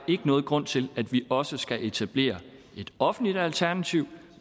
ikke nogen grund til at vi også skal etablere et offentligt alternativ